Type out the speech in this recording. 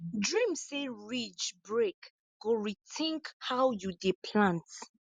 dream say ridge break go rethink how you dey plant